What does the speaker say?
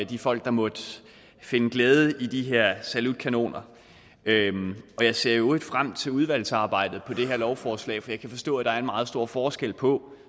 de folk der måtte finde glæde ved de her salutkanoner og jeg ser i øvrigt frem til udvalgsarbejdet om det her lovforslag for jeg kan forstå at der er en meget stor forskel på